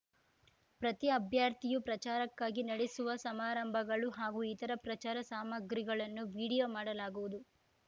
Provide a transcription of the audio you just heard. ಪ್ರತಿ ಅಭ್ಯರ್ಥಿಯು ಪ್ರಚಾರಕ್ಕಾಗಿ ನಡೆಸುವ ಸಮಾರಂಭಗಳು ಹಾಗೂ ಇತರ ಪ್ರಚಾರ ಸಾಮಗ್ರಿಗಳನ್ನು ವಿಡಿಯೋ ಮಾಡಲಾಗುವುದು